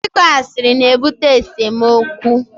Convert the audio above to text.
Ịkọ asịrị na-ebute esemokwu